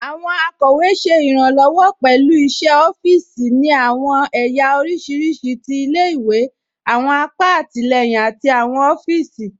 Àwọn akọwe ṣẹ irànlowọ pẹ̀lú iṣẹ̀ ọ̀fììsì ni àwọn èyà oríṣiríṣí tí ilẹ̀-ìwé, àwọn àpà àtilẹyìn àti àwọn ọ̀fíìsì.